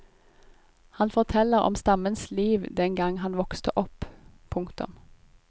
Han forteller om stammens liv den gang han vokste opp. punktum